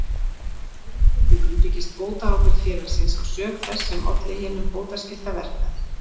Í öðrum tilvikum byggist bótaábyrgð félagsins á sök þess sem olli hinum bótaskylda verknaði.